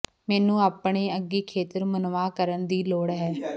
ਮੈਨੂੰ ਆਪਣੇ ਅੰਗੀ ਖੇਤਰ ਮੁਨਵਾ ਕਰਨ ਦੀ ਲੋੜ ਹੈ